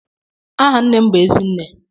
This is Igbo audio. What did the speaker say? Aha nne m bụ "ezi nne".